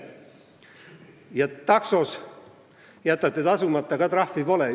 Ja taksos jätate tasumata – ka trahvi pole!